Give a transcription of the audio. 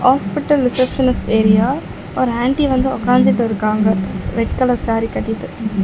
Hospital receptionist area ஒரு aunty வந்து ஒக்காஞ்சிட்டு இருக்காங்க ஸ் ரெட் கலர் சேரி கட்டிட்டு.